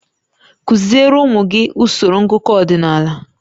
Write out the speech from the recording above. Kụziere ụmụ gị usoro ngụkọ ọdịnala